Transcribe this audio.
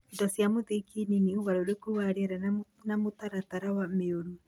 indo cia mũthingi nini, ũgarũrũku wa rĩera, na mĩtaratara mĩũru.